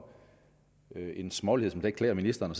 det er en smålighed som ikke klæder ministeren